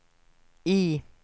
I